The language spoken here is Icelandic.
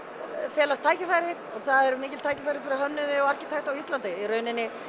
felist tækifæri og það eru mikil tækifæri fyrir hönnuði og arkitekta á Íslandi í rauninni